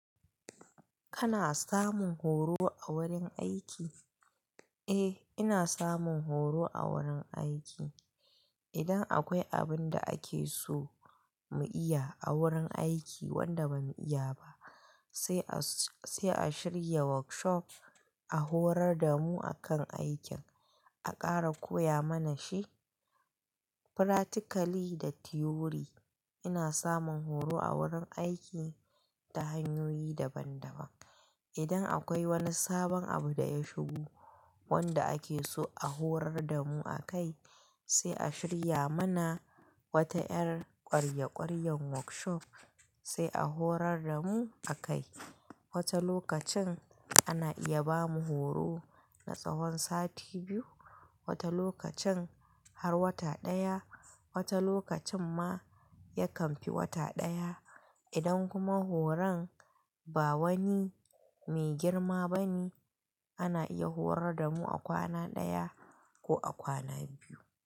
Kana samun horo a wurin aiki? Eh, ina samun horo a wurin aiki. Idan akwai abin da ake so mu iya a wurin aiki wanda bamu iya ba, sai a shirya workshop a horar damu akan aikin, a ƙara koya mana shi practically da theory. Ina samun horo a wurin aiki ta hanyoyi daban-daban. Idan akwai wani sabon abu da ya shigo wanda ake so a horar damu akai, sai a shirya mana wata ƴar kwarye-kwaryan workshop sai a horar damu akai. Wata lokacin ana iya bamu horo na tsahon sati biyu, wata lokacin har wata ɗaya, wata lokacin ma yakan fi wata ɗaya. Idan kuma horon ba wani me girma bane, ana iya horar damu a kwana ɗaya ko a kwana biyu.